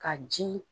Ka ji